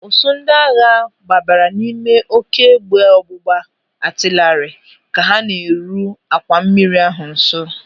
Ụsụụ ndị agha gbabara n'ime oké égbè ọgbụgba atịlarị ka ha na-eru àkwà mmiri ahụ nso.